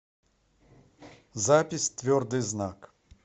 запись твердый знак